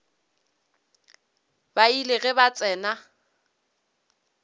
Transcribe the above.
ba ile ge ba tsena